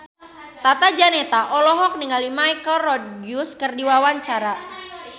Tata Janeta olohok ningali Michelle Rodriguez keur diwawancara